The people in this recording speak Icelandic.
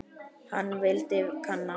Hann vildi kanna.